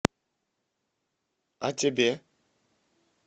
а тебе